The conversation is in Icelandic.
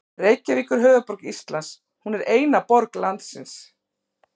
Reykjavík er höfuðborg Íslands. Hún er eina borg landsins.